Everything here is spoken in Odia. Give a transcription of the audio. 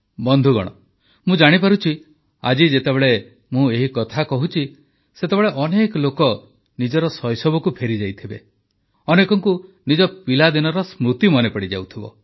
ବନ୍ଧୁଗଣ ମୁଁ ଜାଣିପାରୁଛି ଆଜି ଯେତେବେଳେ ମୁଁ ଏହି କଥା କହୁଛି ସେତେବେଳେ ଅନେକ ଲୋକ ନିଜର ଶୈଶବକୁ ଫେରିଯାଇଥିବେ ଅନେକଙ୍କୁ ନିଜ ପିଲାଦିନର ସ୍ମୃତି ମନେପଡିଯାଇଥିବ